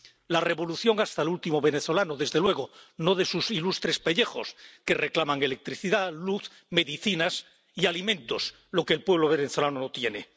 La revolución hasta el último venezolano, desde luego, no de sus ilustres pellejos, que reclaman electricidad, luz, medicinas y alimentos, lo que el pueblo venezolano no tiene.